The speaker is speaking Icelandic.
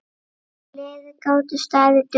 Gleðir gátu staðið dögum saman.